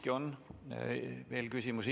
Teile on siiski veel küsimusi.